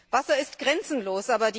Wasser ist grenzenlos.